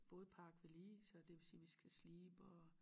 Vores øh bådpark vedlige så det vil sige vi skal slibe og